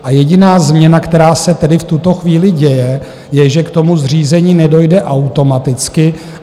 A jediná změna, která se tedy v tuto chvíli děje, je, že k tomu zřízení nedojde automaticky.